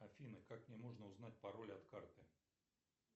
афина как мне можно узнать пароль от карты